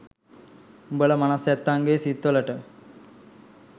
දුබල මනස් ඇත්තන්ගෙ සිත් වලට